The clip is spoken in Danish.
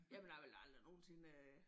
Jamen jeg ville aldrig nogetsinde øh